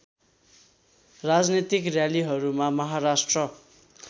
राजनीतिक र्‍यालीहरूमा महाराष्ट्र